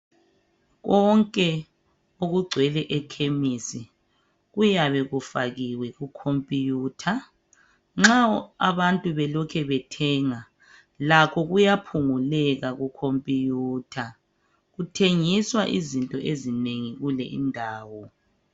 Konke okugcwele ekhemisi kuyabe kufakiwe ku computer nxa abantu belokhe bethenga lakho kuphunguleka ku computer kuthengiswa izinto ezinengi kule indawo.